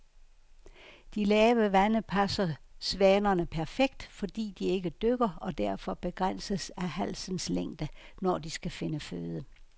De lave vande passer svanerne perfekt, fordi de ikke dykker og derfor begrænses af halsens længde, når de skal finde føde.